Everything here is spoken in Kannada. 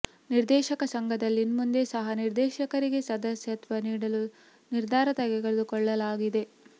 ನಿರ್ದೇಶಕ ಸಂಘದಲ್ಲಿ ಇನ್ಮುಂದೆ ಸಹ ನಿರ್ದೇಶಕರಿಗೆ ಸದಸ್ಯತ್ವ ನೀಡಲು ನಿರ್ಧಾರ ತೆಗೆದುಕೊಳ್ಳಲಾಗಿದೆ